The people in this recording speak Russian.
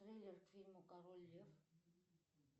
трейлер к фильму король лев